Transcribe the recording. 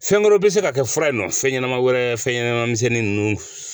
Fɛn wɛrɛw bɛ se ka kɛ fura in nɔ fɛn ɲɛnama wɛrɛ fɛnɲɛnaman misɛnnin ninnu